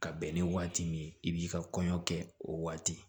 Ka bɛn ni waati min ye i b'i ka kɔɲɔ kɛ o waati